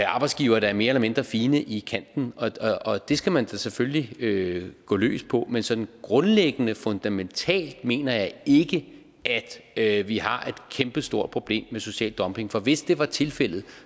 arbejdsgivere der er mere eller mindre fine i kanten og det skal man da selvfølgelig gå løs på men sådan grundlæggende fundamentalt mener jeg ikke at vi har et kæmpestort problem med social dumping for hvis det var tilfældet